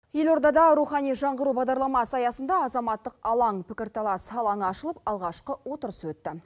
елордада рухани жаңғыру бағдарламасы аясында азаматтық алаң пікір талас алаңы ашылып алғашқы отырыс өтті